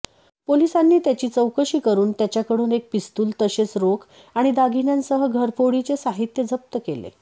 पोलिसांनी त्याची चौकशी करून त्याच्याकडून एक पिस्तुल तसेच रोख आणि दागिन्यांसह घरफोडीचे साहित्य जप्त केले